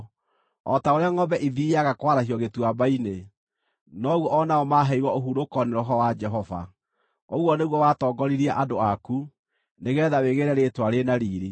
o ta ũrĩa ngʼombe ithiiaga kwarahio gĩtuamba-inĩ, noguo o nao maaheirwo ũhurũko nĩ Roho wa Jehova, Ũguo nĩguo watongoririe andũ aku nĩgeetha wĩgĩĩre rĩĩtwa rĩ na riiri.